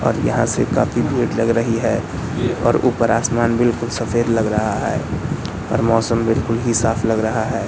और यहां से काफी भीड़ लग रही है और ऊपर आसमान बिल्कुल सफेद लग रहा है और मौसम बिल्कुल ही साफ लग रहा है।